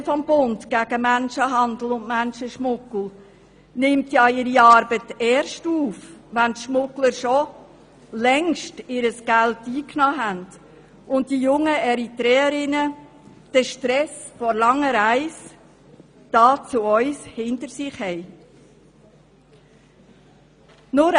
Die Koordinationsstelle des Bundes gegen Menschenhandel und Menschenschmuggel (KSMM) nimmt ihre Arbeit erst auf, wenn die Schmuggler ihr Geld längst eingenommen haben und die jungen Eritreer und Eritreerinnen den Stress der langen Reise zu uns hinter sich haben.